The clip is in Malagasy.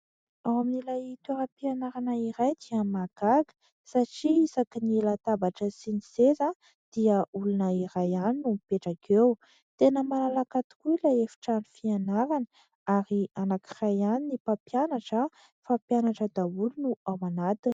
Ao amin'ilay toeram-pianarana anankiray dia mahagaga satria isaky ny latabatra sy ny seza dia olona iray ihany no mipetraka eo. Tena malalaka tokoa ilay efitrano fianarana ary anankiray ihany ny mpampianatra fa mpianatra daholo no ao anatiny.